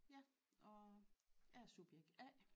Ja og jeg er subjekt A